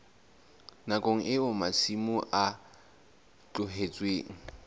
nakong eo masimo a tlohetsweng